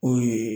O ye